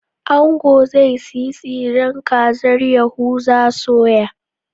Ango zai siyi tsiran kazar Yahuza soya